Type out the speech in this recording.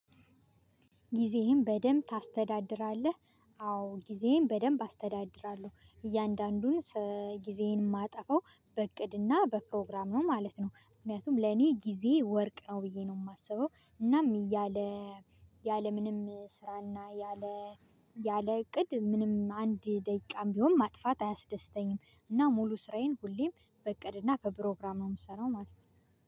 ጊዜህን በደንብ ታስተዳድራለህ? አዎ ጊዜዬን በደንብ አስተዳድራለሁ እያንዳንዱን ጊዜዬን የማጠፋው በእቅድና በፕሮግራም ነው ማለት ነው። ምክንያቱም ለኔ ጊዜ ወርቅ ነው ብዬ ነው የማስበው። እናም ያለ ያለ ምንም ስራና ያለ ያለ እቅድ ምንም አንድ ደቂቃም ቢሆን ማጥፋት አያስደስተኝም። እና ሙሉ ስራዬን ሁሌም በእቅድና በፕሮግራም ምሰራው ማለት ነው